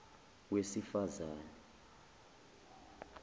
wesifazane